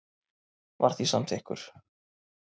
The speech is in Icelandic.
var því samþykkur.